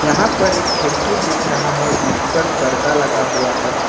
यहां पर एक खिड़की दिख रहा है जिस पर पर्दा लगा हुआ है।